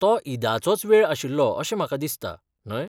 तो ईदाचोच वेळ आशिल्लो अशें म्हाका दिसता? न्हय?